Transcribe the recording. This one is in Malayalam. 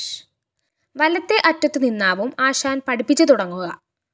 വലത്തേ അറ്റത്തുനിന്നാവും ആശാന്‍ പഠിപ്പിച്ച് തുടങ്ങുക